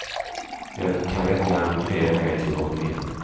Det kan väcka en bred negativ opinion.